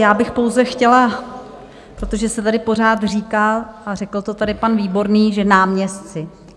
Já bych pouze chtěla, protože se tady pořád říká, a řekl to tady pan Výborný, že náměstci.